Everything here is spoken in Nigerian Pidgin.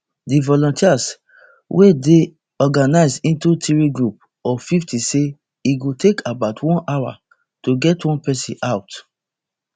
di volunteers wey dey organised into three groups of fifty say e go take about one hour to get one persin out